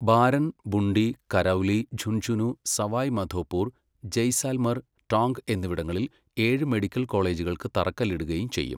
Barren, Bundi, Karauli, Jhunjhunu, Sawai Madhopur, Jaisalmer, Tonk എന്നിവിടങ്ങളിൽ ഏഴ് medical കോളേജുകൾക്ക് തറക്കല്ലിടുകയും ചെയ്യും.